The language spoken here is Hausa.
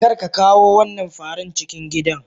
Karka kawo wannan faran cikin gidan.!